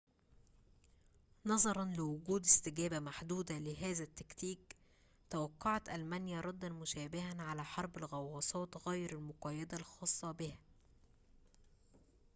نظراً لوجود استجابة محدودة لهذا التكتيك توقعت ألمانيا رداً مشابهاً على حرب الغواصات غير المقيدة الخاصة بها